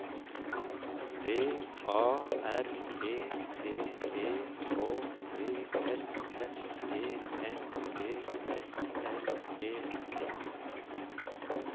V A R E T E K T S F E N G S L E T